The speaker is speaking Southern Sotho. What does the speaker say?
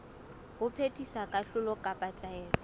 ho phethisa kahlolo kapa taelo